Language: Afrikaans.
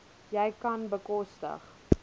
jy kan bekostig